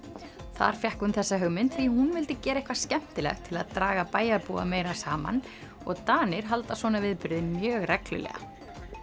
þar fékk hún þessa hugmynd því hún vildi gera eitthvað skemmtilegt til að draga bæjarbúa meira saman og Danir halda svona viðburði mjög reglulega